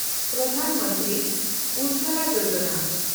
ᱯᱨᱚᱫᱷᱟᱱ ᱢᱚᱱᱛᱨᱤ ᱩᱡᱽᱡᱚᱞᱟ ᱭᱳᱡᱚᱱᱟ